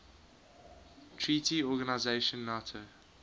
treaty organization nato